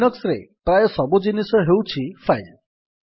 Linux ରେ ପ୍ରାୟ ସବୁ ଜିନିଷ ହେଉଛି ଫାଇଲ୍